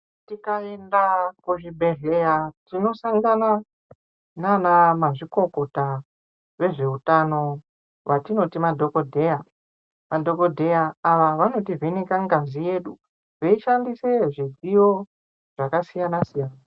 Tikaenda kuzvibhedhlera tinosanga nana mazvikokota vezveutano vatinoti madhokodheya , madhokodheya ava vanoti vheneka ngazi yedu veishandisa midziyo zvakasiyana siya.